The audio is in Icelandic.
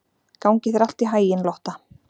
Gangi þér allt í haginn, Lotta.